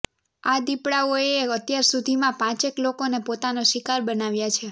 આ દીપડાઓએ અત્યાર સુધીમાં પાંચેક લોકોને પોતાનો શિકાર બનાવ્યા છે